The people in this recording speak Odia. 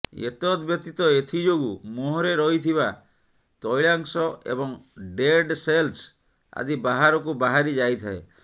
ଏତଦ୍ବ୍ୟତୀତ ଏଥିଯୋଗୁଁ ମୁହଁରେ ରହିଥିବା ତୈଳାଂଶ ଏବଂ ଡେଡ୍ ସେଲ୍ସ ଆଦି ବାହାରକୁ ବାହାରିଯାଇଥାଏ